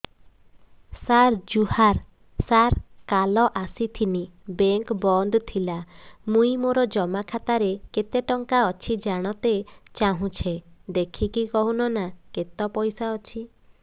ସାର ଜୁହାର ସାର କାଲ ଆସିଥିନି ବେଙ୍କ ବନ୍ଦ ଥିଲା ମୁଇଁ ମୋର ଜମା ଖାତାରେ କେତେ ଟଙ୍କା ଅଛି ଜାଣତେ ଚାହୁଁଛେ ଦେଖିକି କହୁନ ନା କେତ ପଇସା ଅଛି